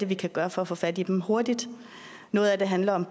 vi kan gøre for at få fat i dem hurtigt noget af det handler om